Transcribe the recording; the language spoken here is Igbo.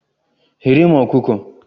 Ghere m ọkụkọ!